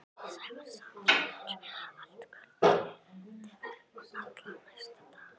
Sævar sat hjá mér allt kvöldið og allan næsta dag.